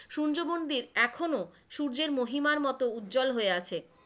সূর্যমন্দির এখনো সূর্যের মহিমার মত উজ্জল হয়ে আছে,